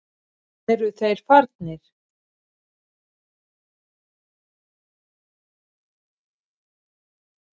Eru þeir farnir?